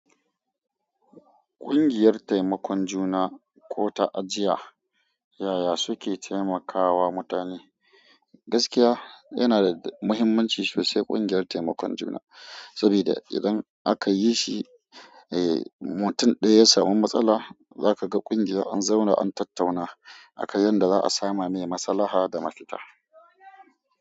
Ƙungiyar taimakon juna ko ta ajiya, yaya suke taimakawa mutane? Gaskiya yana da muhimmanci sosai ƙungiyar taimakon juna, saboda idan aka yi shi, eh mutum daya ya sami matsala, za ka ga ƙungiya an zauna an tattauna aka yi yadda za a sama me masalaha da mafita.